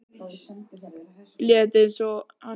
Læt einsog hann sé ekki til.